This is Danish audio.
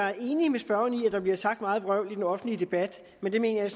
er enig med spørgeren i at der bliver sagt meget vrøvl i den offentlige debat men det mener jeg